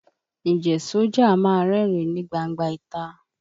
Ǹjẹ́ sójà a máa rẹ́rìn ín ní gbangba ìta?